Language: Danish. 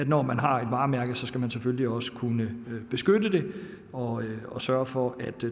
når man har et varemærke så selvfølgelig også skal kunne beskytte det og og sørge for at